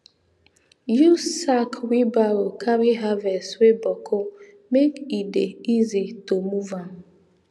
use sack wheelbarrow carry harvest wey boku make e dey easy to move am